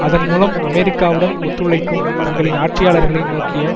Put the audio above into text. அதன் மூலம் அமெரிக்காவுடன் ஒத்துழைக்கும் தங்களின் ஆட்சியாளர்களை நோக்கிய